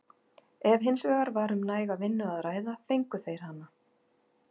Ef hins vegar var um næga vinnu að ræða fengu þeir hana.